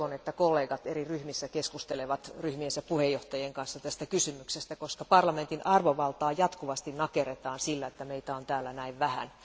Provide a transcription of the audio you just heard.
Toivon, että kollegat eri ryhmissä keskustelevat ryhmiensä puheenjohtajien kanssa tästä kysymyksestä, koska parlamentin arvovaltaa jatkuvasti nakerretaan sillä, että meitä on täällä näin vähän.